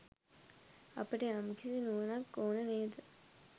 අපට යම්කිසි නුවණක් ඕන නේද?